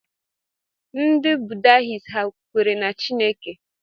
Ndị Buddhists ha kwere na Chineke?